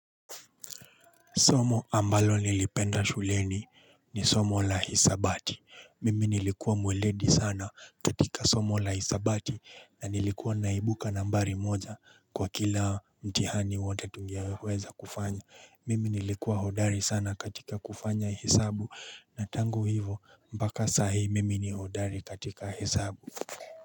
Somo ambalo nilipenda shuleni ni somo la hisabati. Mimi nilikuwa mweledi sana katika somo la hisabati na nilikuwa naibuka nambari moja kwa kila mtihani wote tungeweza kufanya. Mimi nilikuwa hodari sana katika kufanya hesabu na tangu hivo mpaka sahi mimi ni hodari katika hesabu.